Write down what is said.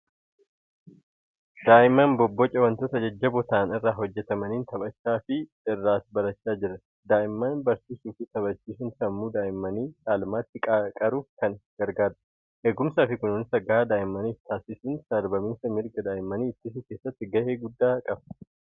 Daa'imman bobboca wantoota jajjaboo ta'an irraa hojjetamaniin taphachaa fi irraas barachaa jiran. Daa'imman barsiisuu fi taphachiisuun sammuu daa'immanii caalmaatti qaruuf kan gargaarudha. Eegumsaa fi kunuunsa gahaa daa'immaniif taasisuun sarbaminsa mirga daa'immanii ittisuu keessatti gahee guddaa qaba.